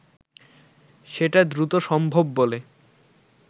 সেটা দ্রুত সম্ভব বলে